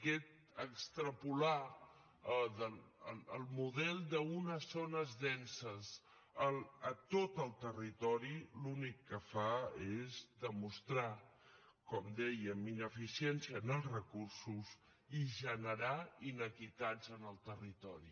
aquest extrapolar el model d’unes zones denses a tot el territori l’únic que fa és demostrar com dèiem ineficiència en els recursos i generar iniquitats en el territori